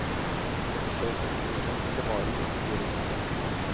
Jeg forsøker å finne frem til det varige, sier hun.